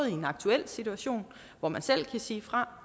i en aktuel situation hvor man selv kan sige fra